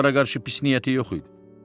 Onlara qarşı pis niyyəti yox idi.